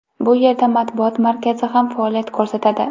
Bu yerda matbuot markazi ham faoliyat ko‘rsatadi.